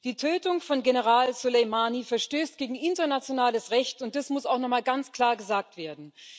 Die Tötung von General Soleimani verstößt gegen internationales Recht, und das muss auch noch mal ganz klar gesagt werden.